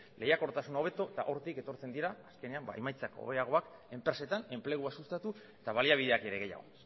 lehiakortasuna hobeto eta hortik etortzen dira azkenean ba emaitzak hobeagoak enpresetan enplegua sustatu eta baliabideak ere gehiago